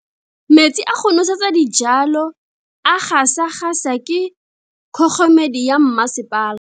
Metsi a go nosetsa dijalo a gasa gasa ke kgogomedi ya masepala.